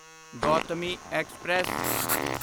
Gautami express